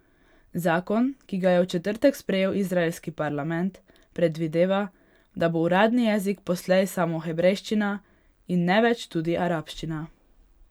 Zakon, ki ga je v četrtek sprejel izraelski parlament, predvideva, da bo uradni jezik poslej samo hebrejščina in ne več tudi arabščina.